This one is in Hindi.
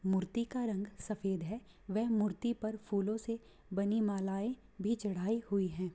मूर्ति का रंग सफेद है वह मूर्ति पर फूलों से बनी मालाएं भी चढ़ाई हुयी हैं।